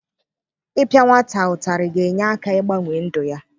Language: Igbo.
Ịpịa nwata ụtarị ga-enye aka ịgbanwe ndụ ya.